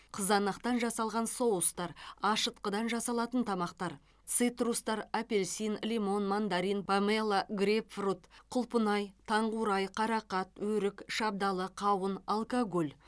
қызанақтан жасалған соустар ашытқыдан жасалатын тамақтар цитрустар апельсин лимон мандарин помело грейпфрут құлпынай таңқурай қарақат өрік шабдалы қауын алкоголь